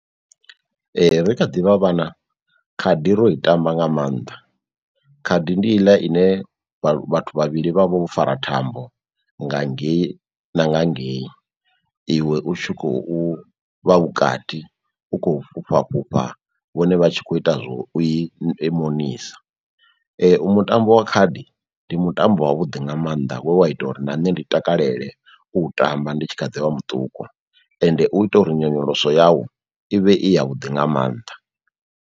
Ee ri kha ḓivha vhana khadi ro i tamba nga mannḓa, khadi ndi iḽa ine vha vhathu vhavhili vha vho fara thambo nga ngei na nga ngei iwe u tshi khou vha vhukati, u khou fhufha fhufha vhone vha tshi kho ita zwo u i monisa. Mutambo wa khadi ndi mutambo wa vhuḓi nga maanḓa we wa ita uri na nṋe ndi takalela u tamba ndi tshi kha ḓi vha muṱuku ende u ita uri nyonyoloso yau ivhe i ya vhuḓi nga mannḓa.